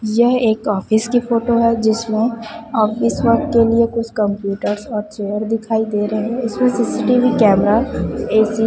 यह एक ऑफिस की फोटो है जिसमें ऑफिस वर्क के लिए कुछ कंप्यूटर्स और चेयर दिखाई दे रहे हैं उसमें सी_सी_टी_वी कैमरा ए_सी --